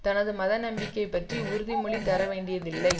தனது மத நம்பிக்கை பற்றி உறுதிமொழி தர வேண்டியதில்லை